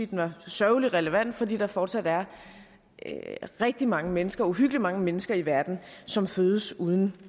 den er sørgeligt relevant fordi der fortsat er rigtig mange mennesker uhyggeligt mange mennesker i verden som fødes uden